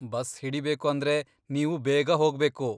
Bus ಹಿಡಿಬೇಕು ಅಂದ್ರೆ ನೀವು ಬೇಗ ಹೋಗ್ಬೇಕು.